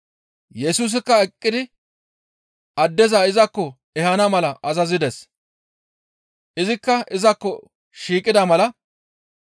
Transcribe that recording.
Yesusikka eqqidi addeza izakko ehana mala azazides; izikka izakko shiiqida mala,